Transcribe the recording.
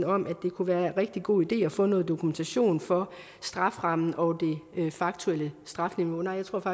om at det kunne være en rigtig god idé at få noget dokumentation for strafferammen og det faktuelle strafniveau nej jeg tror